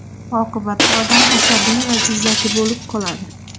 Oqibatda odam asabiy va jizzaki bo‘lib qoladi.